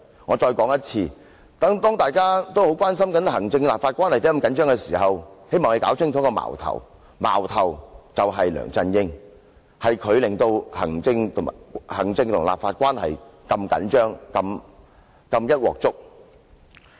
我再說一次，當大家都很關心行政立法關係為何如此緊張時，希望大家弄清楚，矛頭是梁振英，是他令行政立法關係變得緊張和"一鑊粥"。